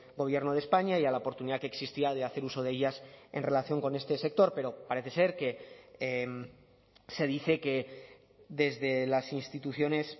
gobierno de españa y a la oportunidad que existía de hacer uso de ellas en relación con este sector pero parece ser que se dice que desde las instituciones